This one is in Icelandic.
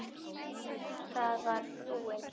PÁLL: Það var frúin.